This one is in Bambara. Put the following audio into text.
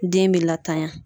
Den bɛ latanya.